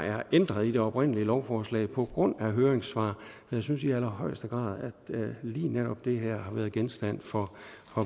er ændret i det oprindelige lovforslag på grund af høringssvar så jeg synes i allerhøjeste grad at lige netop det her har været genstand for